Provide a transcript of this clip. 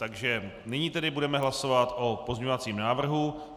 Takže nyní tedy budeme hlasovat o pozměňovacím návrhu.